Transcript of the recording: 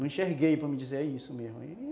Não enxerguei, para me dizer, é isso mesmo.